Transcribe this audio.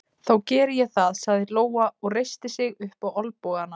Breki Logason: Þannig að, að hvað bendir það þá til þessi órói þarna í nótt?